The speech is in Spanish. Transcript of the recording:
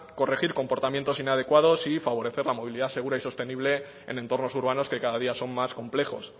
corregir comportamientos inadecuados y favorecer la movilidad segura y sostenible en entornos urbanos que cada día son más complejos